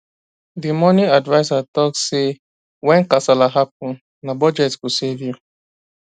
the money adviser talk say when kasala happen na budget go save you